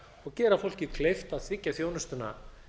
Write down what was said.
og gera fólki kleift að þiggja þjónustuna